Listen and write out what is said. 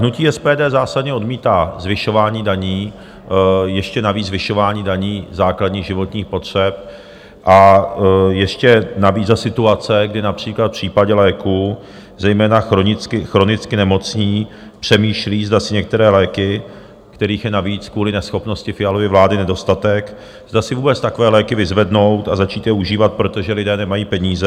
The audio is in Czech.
Hnutí SPD zásadně odmítá zvyšování daní, ještě navíc zvyšování daní základních životních potřeb, a ještě navíc za situace, kdy například v případě léků zejména chronicky nemocní přemýšlí, zda si některé léky, kterých je navíc kvůli neschopnosti Fialovy vlády nedostatek, zda si vůbec takové léky vyzvednout a začít je užívat, protože lidé nemají peníze.